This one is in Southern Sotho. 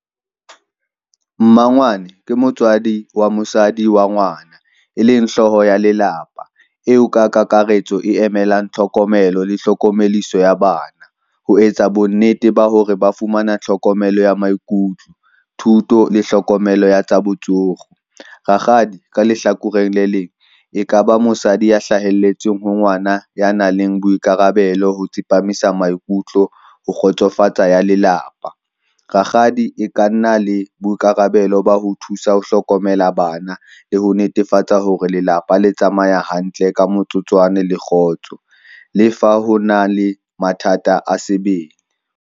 Mmangwane ke motswadi wa mosadi wa ngwana, e leng hlooho ya lelapa eo ka kakaretso e emelang tlhokomelo le tlhokomeliso ya bana. Ho etsa bonnete ba hore ba fumana tlhokomelo ya maikutlo, thuto le hlokomelo ya tsa botsoro. Rakgadi ka lehlakoreng le leng e ka ba mosadi ya hlahelletseng ho ngwana ya nang le boikarabelo ho tsepamisa maikutlo ho kgotsofatsa ya lelapa. Rakgadi e ka nna le boikarabelo ba ho thusa ho hlokomela bana le ho netefatsa hore lelapa le tsamaya hantle ka motsotswana le kgotso. Le fa ho na le mathata a sebele.